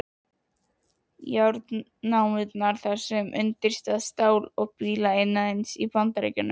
Járnnámurnar þar eru undirstaða stál- og bílaiðnaðarins í Bandaríkjunum.